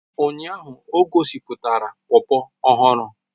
Ụnyaahụ ọ gosipụtara popo ọhụrụ